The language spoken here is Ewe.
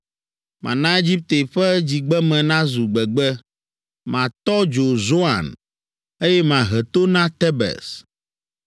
Mana Egipte ƒe dzigbeme nazu gbegbe, matɔ dzo Zoan, eye mahe to na Tebes.